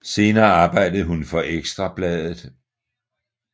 Senere arbejdede hun for Ekstra Bladet